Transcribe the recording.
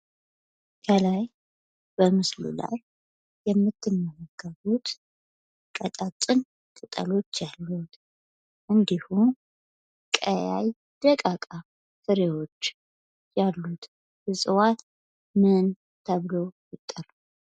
ከላይ በምስሉ ላይ የምትመለከቱት ቀጭን ቅጠሎች ያሉት እንድሁም ቀይ ደቃቅ ፍሬዎች ያሉት ዕጽዋት ምን ተብሎ ይጠራል?